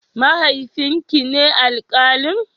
Mahaifin ki ne alkalin?